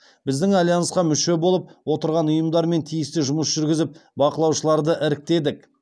біздің альянсқа мүше болып отырған ұйымдармен тиісті жұмыс жүргізіп бақылаушыларды іріктедік